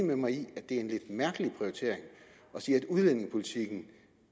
med mig i at det er en lidt mærkelig prioritering at sige at udlændingepolitikken